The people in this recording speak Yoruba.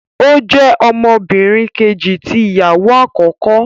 O jẹ ọmọbìnrin Kejì tí ìyàwó akọkọ